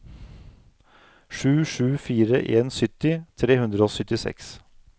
sju sju fire en sytti tre hundre og syttiseks